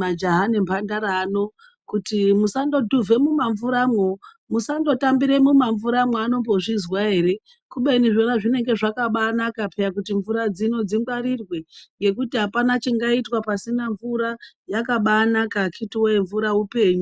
majaha nemhandara ano kuti musandodhuvha mumamvuramo, musandotambira mumamvuramo, anombozvizwa ere. Khubeni zvona zvinenge zvakabanaka pheyani kuti mvura dzinodzi dzingwarirwe, ngekuti apana chingaitwe pasina mvura yakabanaka akhiti woye, mvura upenyu.